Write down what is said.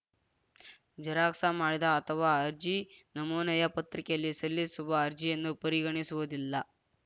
xerox ಮಾಡಿದ ಅಥವಾ ಅರ್ಜಿ ನಮೂನೆಯ ಪತ್ರಿಕೆಯಲ್ಲಿ ಸಲ್ಲಿಸುವ ಅರ್ಜಿಯನ್ನು ಪರಿಗಣಿಸುವುದಿಲ್ಲ